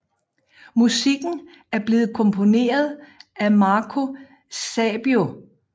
Musikken er blevetkomponeret af Marco Sabiu